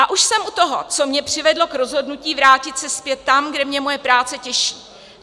A už jsem u toho, co mě přivedlo k rozhodnutí vrátit se zpět tam, kde mě moje práce těší.